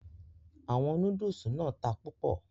Àwọn Núdúùsù náà ta púpò